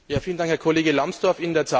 Vielen Dank, Herr Kollege Lambsdorff.